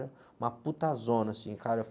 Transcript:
Era uma puta zona, assim, cara.